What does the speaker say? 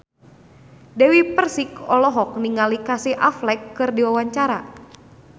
Dewi Persik olohok ningali Casey Affleck keur diwawancara